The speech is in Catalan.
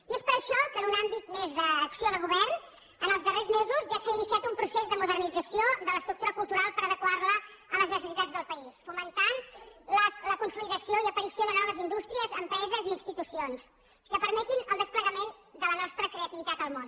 i és per això que en un àmbit més d’acció de govern els darrers mesos ja s’ha iniciat un procés de modernització de l’estructura cultural per adequar la a les necessitats del país fomentant la consolidació i aparició de noves indústries empreses i institucions que permetin el desplegament de la nostra creativitat al món